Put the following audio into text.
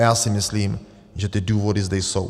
A já si myslím, že ty důvody zde jsou.